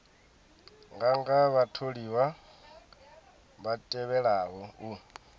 nganga vhatholiwa vha tevhelaho u